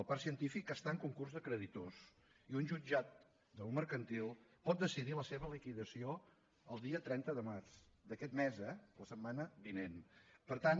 el parc científic està en concurs de creditors i un jutjat mercantil pot decidir la seva liquidació el dia trenta de març d’aquest mes eh la setmana vinent per tant